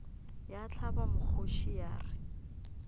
ya hlaba mokgoši ya re